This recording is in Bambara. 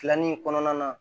Filanin kɔnɔna na